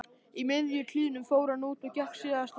Í miðjum klíðum fór hann út og gekk síðasta spölinn.